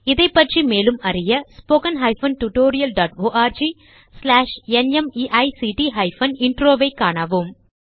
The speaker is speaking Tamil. இதைப்பற்றி மேலும் அறிய httpspoken tutorialorgNMEICT Intro ஐக் காணவும்